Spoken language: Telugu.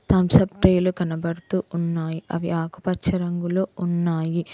థమ్స్ అప్ ట్రేలు కనబడుతూ ఉన్నాయి అవి ఆకుపచ్చ రంగులో ఉన్నాయి.